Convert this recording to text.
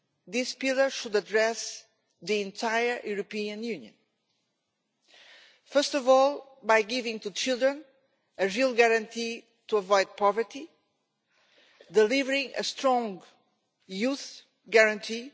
This pillar should address the entire European Union. First of all, by giving children a real guarantee to avoid poverty delivering a strong Youth Guarantee